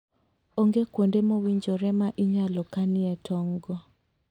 Onge kuonde mowinjore ma inyalo kanie tong'go.